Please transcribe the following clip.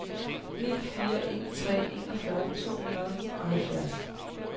ni fire en tre enogfyrre to hundrede og halvfjerds